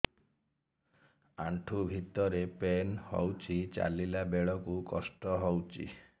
ଆଣ୍ଠୁ ଭିତରେ ପେନ୍ ହଉଚି ଚାଲିଲା ବେଳକୁ କଷ୍ଟ ହଉଚି